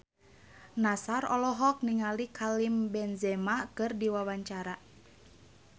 Nassar olohok ningali Karim Benzema keur diwawancara